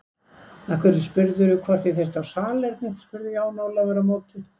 Af hverju spurðirðu hvort ég þyrfti á salernið spurði Jón Ólafur á móti.